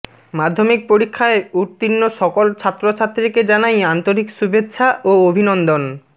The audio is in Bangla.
মাধ্যমিক পরীক্ষায় উত্তীর্ণ সকল ছাত্রছাত্রীকে জানাই আন্তরিক শুভেচ্ছা ও অভিনন্দন